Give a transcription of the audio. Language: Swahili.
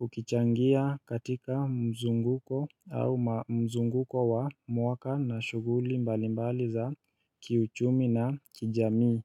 ukichangia katika mzunguko au ma mzunguko wa mwaka na shughuli mbali mbali za kiuchumi na kijamii.